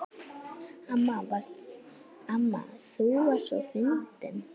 Amma þú varst svo fyndin.